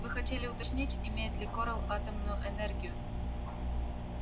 вы хотели уточнить имеет ли корел атомную энергию